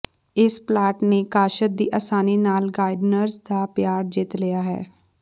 ਇਸ ਪਲਾਂਟ ਨੇ ਕਾਸ਼ਤ ਦੀ ਅਸਾਨੀ ਨਾਲ ਗਾਰਡਨਰਜ਼ ਦਾ ਪਿਆਰ ਜਿੱਤ ਲਿਆ ਹੈ